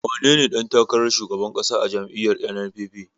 Wanene ɗan takarar shugaban ƙasa a jam'iyyar NNPP?